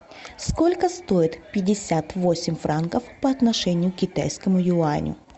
сколько стоят пятьдесят восемь франков по отношению к китайскому юаню